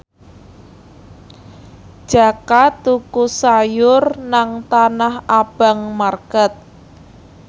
Jaka tuku sayur nang Tanah Abang market